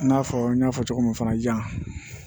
I n'a fɔ n y'a fɔ cogo min fana jan